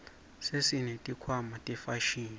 sesineti khwama tefashini